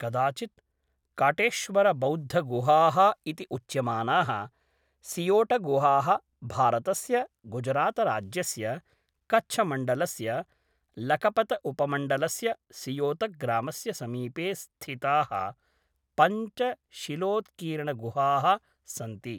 कदाचित् काटेश्वरबौद्धगुहाः इति उच्यमानाः सियोटगुहाः भारतस्य गुजरातराज्यस्य कच्छमण्डलस्य लकपतउपमण्डलस्य सियोतग्रामस्य समीपे स्थिताः पञ्च शिलोत्कीर्णगुहाः सन्ति।